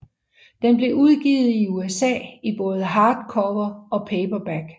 Den blev udgivet i USA i både hardcover og paperback